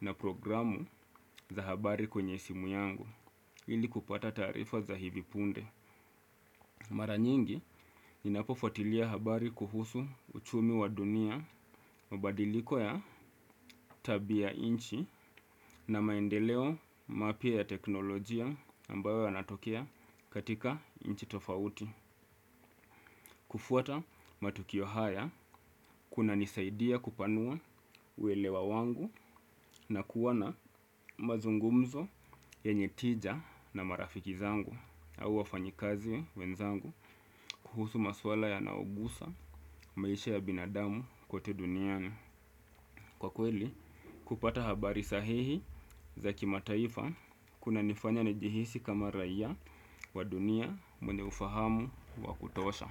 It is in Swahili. na programu za habari kwenye simu yangu ili kupata tarifa za hivi punde. Mara nyingi inapofuatilia habari kuhusu uchumi wa dunia mabadiliko ya tabiya inchi na maendeleo mapia ya teknolojia ambayo yanatokea katika inchi tofauti. Kufuata matukio haya kuna nisaidia kupanua uelewa wangu na kuwa na mazungumzo yenye tija na marafiki zangu. Au wafanyikazi wenzangu kuhusu maswala yanaogusa maisha ya binadamu kote duniani. Kwa kweli, kupata habari sahihi za kima taifa kuna nifanya nijihisi kama raia wa dunia mwenye ufahamu wa kutosha.